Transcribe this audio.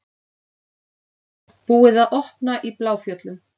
Búið að opna í Bláfjöllum